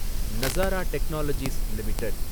Nazara technologies limited